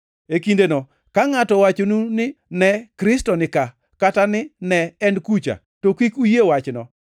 E kindeno ka ngʼato owachonu ni, ‘Ne, Kristo ni ka!’ kata ni, ‘Ne, En kucha!’ to kik uyie wachno.